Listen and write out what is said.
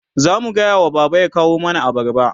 zamu gayawa baba ya kawo mana abarba